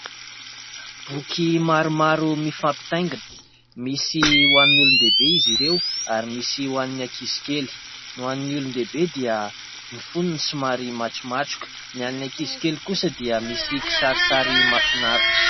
Boky maromaro mifampitaingina, misy ho an'ny olondehibe izy ireo ary misy ho an'ny ankizy koa. Ny ho an'ny olondehibe dia ny fonony somary matromatroka, ny an'ny ankizy kely kosa dia misy kisarisary mahafinaritra.